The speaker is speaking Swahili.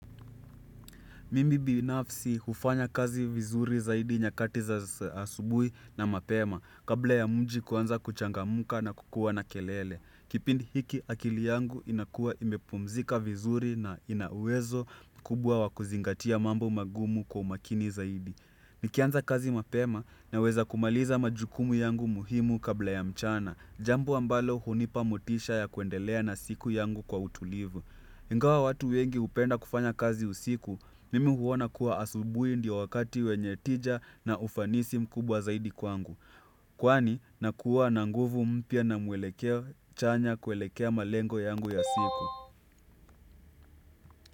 Mimi binafsi hufanya kazi vizuri zaidi nyakati za asubuhi na mapema kabla ya mji kuanza kuchangamka na kukua na kelele. Kipindi hiki akili yangu inakuwa imepumzika vizuri na ina uwezo mkubwa wa kuzingatia mambo magumu kwa umakini zaidi. Nikianza kazi mapema naweza kumaliza majukumu yangu muhimu kabla ya mchana. Jambo ambalo hunipa motisha ya kuendelea na siku yangu kwa utulivu. Ingawa watu wengi hupenda kufanya kazi usiku, mimi huona kuwa asubuhi ndiyo wakati wenye tija na ufanisi mkubwa zaidi kwangu. Kwani, nakuwa na nguvu mpya na mwelekeo chanya kuelekea malengo yangu ya siku.